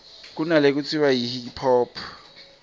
kunalekutsiwa yi hip hop